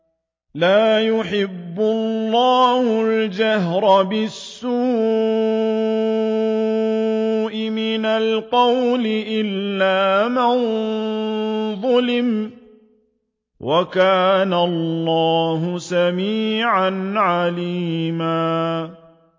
۞ لَّا يُحِبُّ اللَّهُ الْجَهْرَ بِالسُّوءِ مِنَ الْقَوْلِ إِلَّا مَن ظُلِمَ ۚ وَكَانَ اللَّهُ سَمِيعًا عَلِيمًا